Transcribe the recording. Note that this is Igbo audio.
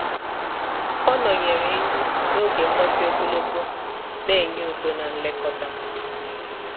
ọ nọnyere enyi ya n’oge mgbake ogologo na enye udo na nlekọta.